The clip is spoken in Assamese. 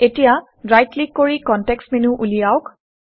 এতিয়া ৰাইট ক্লিক কৰি কনটেক্সট্ মেনু উলিয়াওক